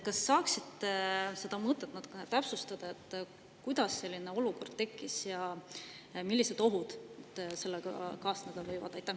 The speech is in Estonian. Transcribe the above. Kas te saaksite seda mõtet natuke täpsustada – kuidas selline olukord tekkis ja millised ohud sellega kaasneda võivad?